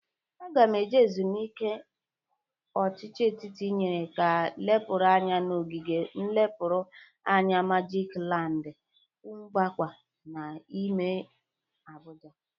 Aga m eje ezumuike a ọchịchị etiti nyere ga lepụrụ anya n'ogige nlepụrụ anya magik land, Kunkwaba n'ime Abụja.